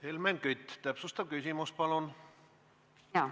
Helmen Kütt, täpsustav küsimus, palun!